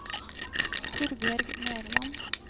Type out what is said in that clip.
Torbjørg Nerland